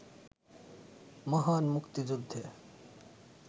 মহান মুক্তিযুদ্ধে